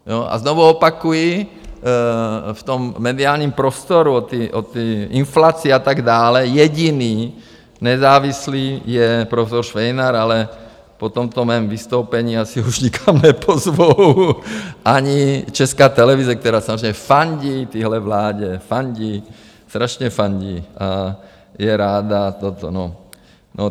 A znovu opakuji, v tom mediálním prostoru o té inflaci a tak dále, jediný nezávislý je profesor Švejnar, ale po tomto mém vystoupení asi už nikam nepozvou, ani Česká televize, která samozřejmě fandí téhle vládě, fandí, strašně fandí a je ráda to... no.